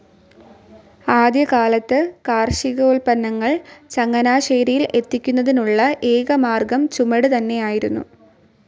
ആദ്യകാലത്ത് കാർഷികോൽപ്പന്നങ്ങൾ ചങ്ങനാശ്ശേരിയിൽ എത്തിക്കുന്നതിനുള്ള ഏക മാർഗം ചുമട് തന്നെയായിരുന്നു.